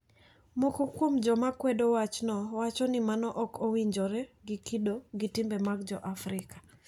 Moko kuom joma kwedo wachno wacho ni mano ok owinjore gi kido gi timbe mag jo Afrika.